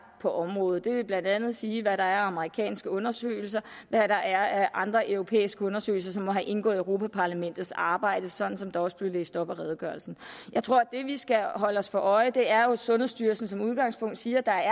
på området og det vil blandt andet sige hvad der er af amerikanske undersøgelser og hvad der er af andre europæiske undersøgelser som må have indgået i europa parlamentets arbejde sådan som det også blev læst op af redegørelsen jeg tror at det vi skal holde os for øje er at sundhedsstyrelsen som udgangspunkt siger at der